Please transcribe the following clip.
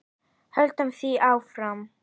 Höldum því áfram.